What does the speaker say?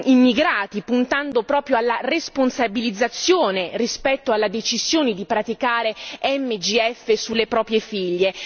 immigrati, puntando proprio alla responsabilizzazione rispetto alla decisione di praticare MGF sulle proprie figlie.